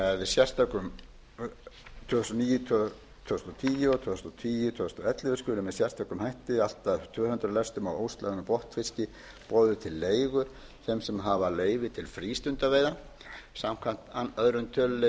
þúsund og níu tvö þúsund og tíu og tvö þúsund og ellefu skuli með sérstökum hætti allt að tvö hundruð lestum af óslægðum botnfiski boðið til leigu þeim sem hafa leyfi til frístundaveiða samkvæmt öðrum tölulið